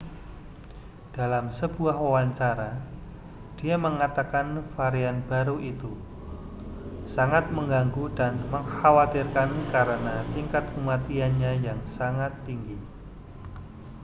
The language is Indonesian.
dalam sebuah wawancara dia mengatakan varian baru itu sangat mengganggu dan mengkhawatirkan karena tingkat kematiannya yang sangat tinggi